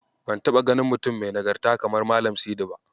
Ban taɓa ganin mutum mai nagarta kamar Malam Sidi ba.